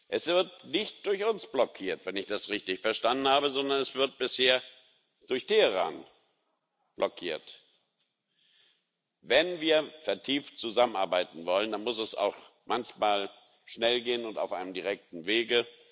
Es wird nicht durch uns blockiert, wenn ich das richtig verstanden habe, sondern es wird bisher durch Teheran blockiert. Wenn wir vertieft zusammenarbeiten wollen, dann muss es manchmal auch schnell gehen und auf einem direkten Wege.